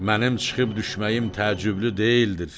Mənim çıxıb düşməyim təəccüblü deyildir.